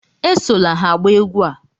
Esola ha agba egwú a!